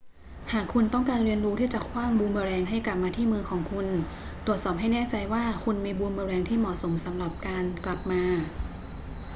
หากคุณต้องการเรียนรู้ที่จะขว้างบูมเมอแรงให้กลับมาที่มือของคุณ ตรวจสอบให้แน่ใจว่าคุณมีบูมเมอแรงที่เหมาะสมสำหรับการกลับมา